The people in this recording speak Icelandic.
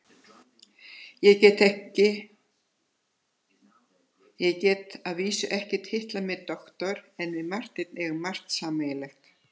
Ég get að vísu ekki titlað mig doktor en við Marteinn eigum margt sameiginlegt.